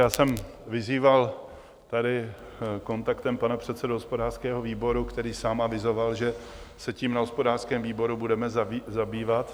Já jsem vyzýval tady kontaktem pana předsedu hospodářského výboru, který sám avizoval, že se tím na hospodářském výboru budeme zabývat.